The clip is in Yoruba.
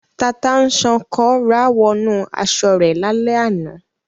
Tata-n-sánkọ rá wọnú aṣọ rẹ̀ lálẹ́ àná.